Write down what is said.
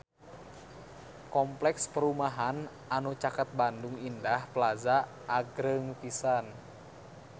Kompleks perumahan anu caket Bandung Indah Plaza agreng pisan